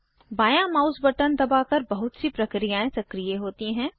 बांया mouse button दबाकर बहुत सी प्रक्रियाएं सक्रीय होती हैं